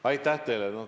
Aitäh teile!